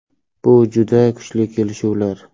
Bu juda kuchli kelishuvlar.